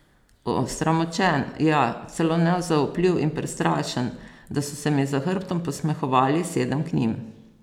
Osramočen, ja, celo nezaupljiv in prestrašen, da so se mi za hrbtom posmehovali, sedem k njim.